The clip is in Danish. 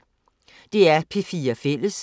DR P4 Fælles